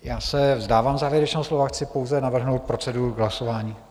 Já se vzdávám závěrečného slova, chci pouze navrhnout proceduru hlasování.